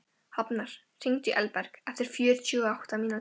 Hafnar, hringdu í Elberg eftir fjörutíu og átta mínútur.